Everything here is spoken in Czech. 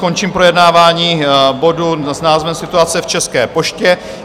Končím projednávání bodu s názvem Situace v České poště.